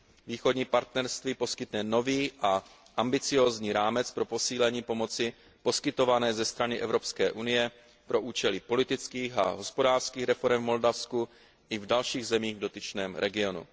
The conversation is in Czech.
Východní partnerství poskytne nový a ambiciózní rámec pro posílení pomoci poskytované ze strany EU pro účely politických a hospodářských reforem v Moldavsku i v dalších zemích v dotyčném regionu.